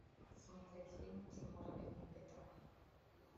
смотреть фильмы тимура бекмамбетова